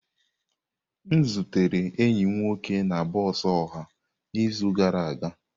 M zutere enyi m nwoke na bọs ọha n'izu gara aga.